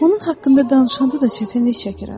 Onun haqqında danışanda da çətinlik çəkirəm.